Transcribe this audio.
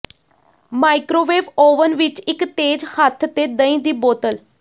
microwave oven ਵਿੱਚ ਇੱਕ ਤੇਜ਼ ਹੱਥ ਤੇ ਦਹੀਂ ਦੀ ਬੋਤਲ